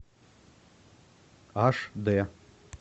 аш д